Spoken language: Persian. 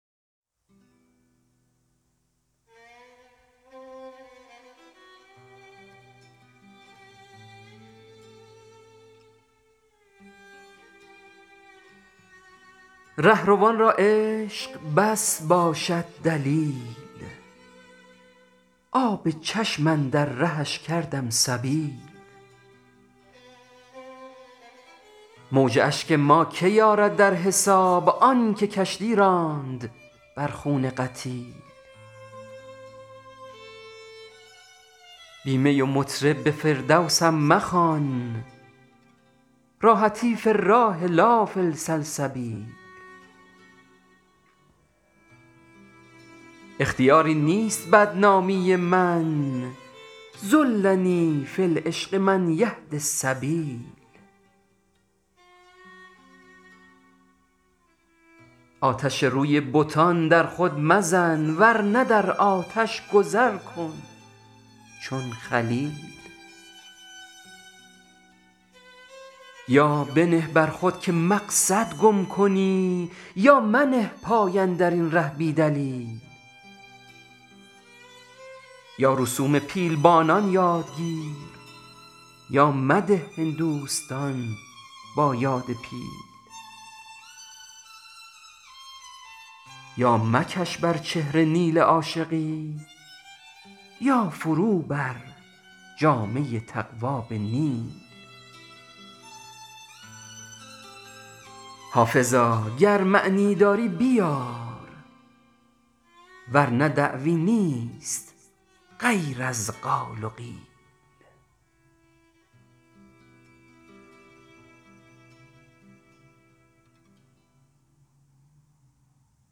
رهروان را عشق بس باشد دلیل آب چشم اندر رهش کردم سبیل موج اشک ما کی آرد در حساب آن که کشتی راند بر خون قتیل بی می و مطرب به فردوسم مخوان راحتی فی الراح لا فی السلسبیل اختیاری نیست بدنامی من ضلنی فی العشق من یهدی السبیل آتش روی بتان در خود مزن ور نه در آتش گذر کن چون خلیل یا بنه بر خود که مقصد گم کنی یا منه پای اندرین ره بی دلیل یا رسوم پیلبانی یاد گیر یا مده هندوستان را یاد پیل یا مکش بر چهره نیل عاشقی یا فرو بر جامه تقوی به نیل حافظا گر معنیی داری بیار ورنه دعوی نیست غیر از قال و قیل